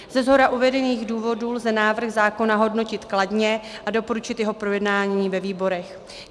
Ze shora uvedených důvodů lze návrh zákona hodnotit kladně a doporučit jeho projednání ve výborech.